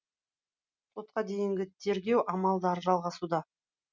сотқа дейінгі тергеу амалдары жалғасуда